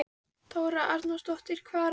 Þóra Arnórsdóttir: Hvaða ráðherra var þetta?